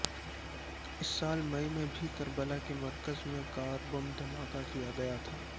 اس سال مئی میں بھی کربلا کے مرکز میں کار بم دھماکہ کیا گیا تھا